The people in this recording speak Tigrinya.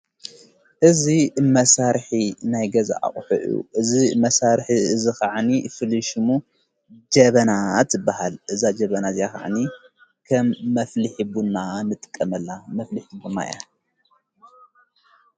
እዝ መሣርኂ ናይ ገዛ ኣቕሕዑ እዝ መሣርኂ እዝኸዓኒ ፍልሹሙ ጀበና ይበሃል እዛ ጀበና እዚኽዕኒ ከም መፍሊሕ ቡና ንጥቀመላ መፍሊሕ ቡናያ።